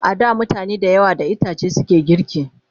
A da mutane da yawa da itace suke girki